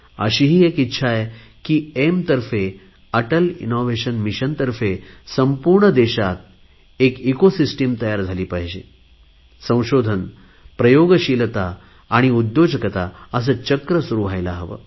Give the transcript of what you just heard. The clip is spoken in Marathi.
अशीही एक इच्छा आहे की एईएम तर्फे अटल इनोव्हेशन मिशन तर्फे संपूर्ण देशात एक इकोसिस्टिम तयार झाली पाहिजे संशोधन प्रयोगशीलता उद्योजकता असे चक्र सुरु व्हायला हवे